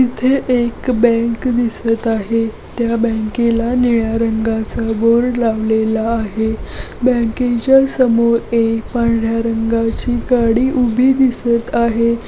इथे एक बँक दिसत आहे त्या बॅंकेला निळ्या रंगाचा बोर्ड लावलेला आहे बँकेच्या समोर एक पांढर्‍या रंगाची गाडी उभी दिसत आहे.